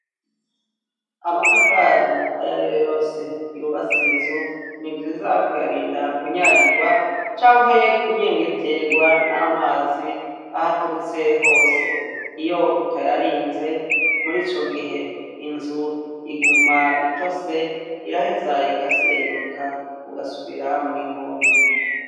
Amatafari ay'ariyo yose yubatse inzu ni vyiza kuyarinda kunyagirwa canke kunyengetegwa n'amazi ahaturutse hose iyo utayarinze muriico gihe inzu iguma itose iraheza igasenyuka ugasubira mw'ihumbi.